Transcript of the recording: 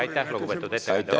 Aitäh, lugupeetud ettekandja!